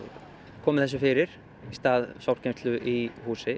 komi þessu fyrir í stað sorpgeymslu í húsi